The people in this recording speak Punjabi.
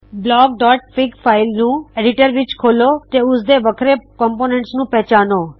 blockਫਿਗ ਫਾਇਲ ਨੂੰ ਐਡਿਟਰ ਵਿੱਚ ਖੋੱਲੋ ਤੇ ਉਸਦੇ ਵੱਖਰੇ ਘਟਕਾਂ ਨੂੰ ਪਹਚਾਣੋ